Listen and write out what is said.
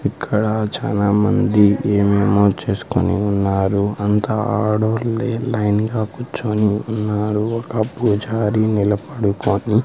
ఇక్కడ చానామంది ఏమేమో చేస్కొని ఉన్నారు అంతా ఆడోళ్లే లైన్ గా కూర్చొని ఉన్నారు ఒక పూజారి నిలబడుకొని --